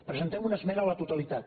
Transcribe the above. presentem una esmena a la totalitat